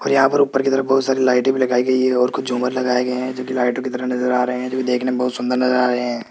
और यहाँ पर ऊपर की तरफ बहुत सारी लाइटे भी लगाई गई है और कुछ झूमर लगाए गए हैं जोकि लाइटों की तरह नजर आ रहे हैं जो देखना बहुत सुंदर नजर आ रहे हैं।